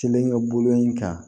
Kelen ka bolo in kan